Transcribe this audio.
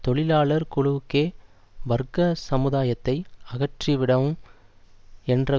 தொழிலாளர் குழுக்களுக்கே வர்க்க சமுதாயத்தை அகற்றிவிடவும் என்ற